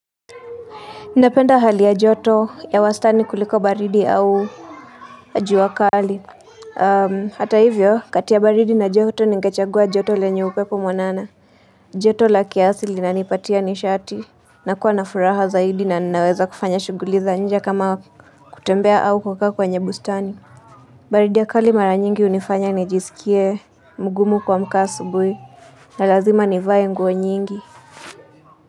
Napenda hali ya joto ya wastani kuliko baridi au jua kali. Hata hivyo kati ya baridi na joto nigechagua joto lenye upepo mwanana. Joto la kiasi linanipatia nishati na kuwa na furaha zaidi na ninaweza kufanya shuguliza nje kama kutembea au kukaa kwenye bustani. Baridi ya kali mara nyingi hunifanya nijisikie mgumu kuamka asubui na lazima nivae nguo nyingi. Kwa hivyo.